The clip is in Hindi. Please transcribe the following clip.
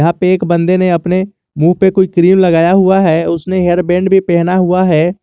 एक बन्दे ने अपने मुंह पे कोई क्रीम लगाया हुआ है उसने हेयरबैंड भी पहना हुआ है।